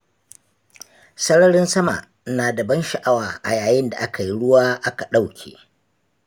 Sararin sama na da ban sha'awa a yayin da aka yi ruwa aka ɗauke.